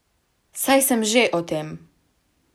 Saj sem že o tem.